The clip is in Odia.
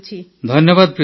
ଧନ୍ୟବାଦ ପ୍ରୀତି ଜୀ